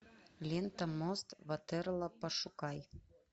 лента мост ватерлоо пошукай